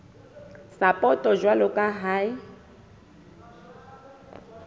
sapoto jwalo ka ha e